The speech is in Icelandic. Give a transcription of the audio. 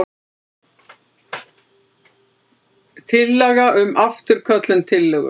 Tillaga um afturköllun tillögu.